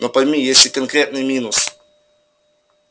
но пойми есть и конкретный минус